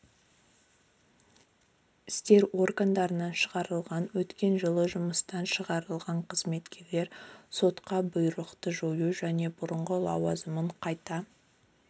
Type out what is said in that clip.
істер органдарынан шығарылған өткен жылы жұмыстан шығарылған қызметкерлер сотқа бұйрықты жою және бұрынғы лауазымдарын қайта